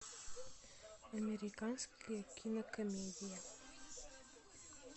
американская кинокомедия